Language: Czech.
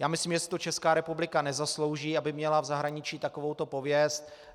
Já myslím, že si to Česká republika nezaslouží, aby měla v zahraničí takovouto pověst.